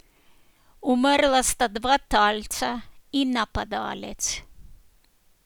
Umrla sta dva talca in napadalec.